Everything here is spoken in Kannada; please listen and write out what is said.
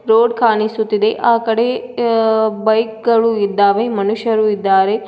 ರೋಡ್ ಕಾಣಿಸುತ್ತಿದೆ ಆ ಕಡೆ ಆ ಬೈಕ್ ಗಳು ಇದ್ದಾವೆ ಮನುಷ್ಯರು ಇದ್ದಾರೆ.